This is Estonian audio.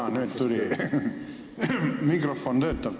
Jaa, nüüd mikrofon töötab.